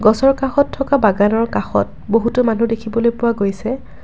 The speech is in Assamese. গছৰ কাষত থকা বাগানৰ কাষত বহুতো মানুহ দেখিবলৈ পোৱা গৈছে।